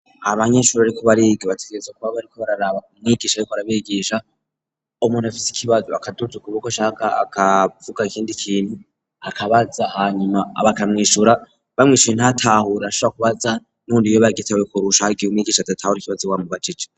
abanyeshuri bariko bariga bategerezwa kuba bariko bararaba umwigisha ariko arabigisha umuntu afisi ikibazo akaduza ukuboko ashaka kuvuga ikindi ikintu akabaza hanyuma bakamwishura bamwishuye ntatahure ashobora kubaza n'undi yoba yagitahuye kurusha hariho igihe umwigisha adatahura ikibazo bamubajije.